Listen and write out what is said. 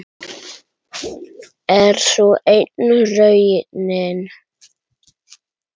Er sú enn raunin?